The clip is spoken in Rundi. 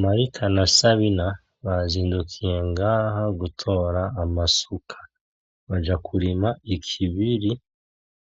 Marita na sabina bazindukiye ngaha gutora amasuka baja kurima ikibiri